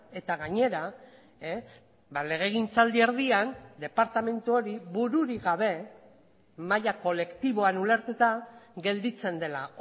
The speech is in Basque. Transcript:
eta gainera legegintzaldi erdian departamentu hori bururik gabe maila kolektiboan ulertuta gelditzen dela